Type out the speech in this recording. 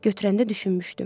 Götürəndə düşünmüşdüm.